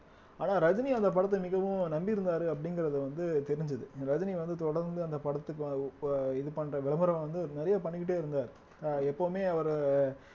ஆனா ரஜினி அந்த படத்தை மிகவும் நம்பி இருந்தாரு அப்படிங்கறது வந்து தெரிஞ்சுது ரஜினி வந்து தொடர்ந்து அந்த படத்துக்கு இப்ப இது பண்ற விளம்பரம் வந்து நிறைய பண்ணிக்கிட்டே இருந்தாரு ஆஹ் எப்பவுமே அவரு